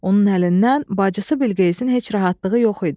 Onun əlindən bacısı Bilqeyisin heç rahatlığı yox idi.